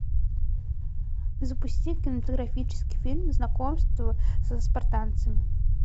запусти кинематографический фильм знакомство со спартанцами